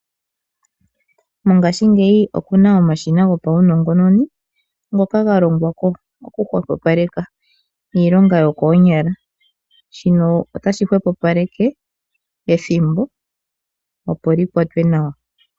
Mongaashingeyi opuna omashina gopawunongononi ngoka galongwa hwepopaleka iilonga yokoonyala. Shino otashi hwepopalele ethimbo opo likwatwe nawa.